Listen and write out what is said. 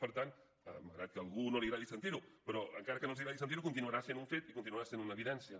per tant malgrat que a algú no li agradi sentir ho però encara que no els agradi sentir ho continuarà sent un fet i continuarà sent una evidència